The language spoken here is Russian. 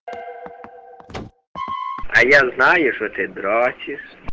а я знаю что ты дрочишь